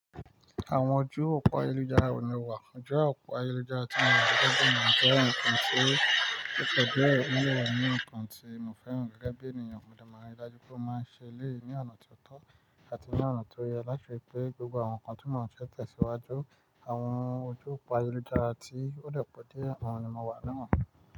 Àwọn ojú òpó ayélujára ni o wà, ọjọ́ òpó ayélujára tí mo rí gbogbo náà jẹ́ ohun kan tí ó tọ́jú èmi lọ́wọ́ ní ohun kan tí mo fẹ́ràn gẹ́gẹ́ bí ènìyàn mò dè máa n ri dájú pé ó máa ń ṣe eléyií ni ọ̀nà tó tọ́ àti ní ọ̀nà tó yọ láti ri pé gbogbo àwọn nǹkan tí mò ń ṣè tẹ̀síwájú. Àwọn ojú òpó ayélujára tí ó depọ̀ dié oun ni mo wà lọ́wọ́.